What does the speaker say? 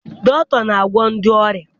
Dọkịta na-agwọ ndị ọrịa.